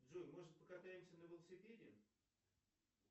джой может покатаемся на велосипеде